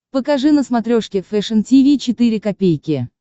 покажи на смотрешке фэшн ти ви четыре ка